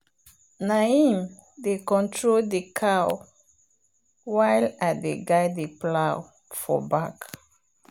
na him dey control the cow while i dey guide the plow for back.